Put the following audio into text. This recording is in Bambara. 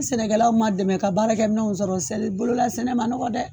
Ni sɛnɛkɛlaw ma dɛmɛ ka baarakɛ minɛnw sɔrɔ, sari bolo la sɛnɛ ma nɔgɔ dɛ.